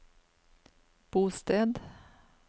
bosted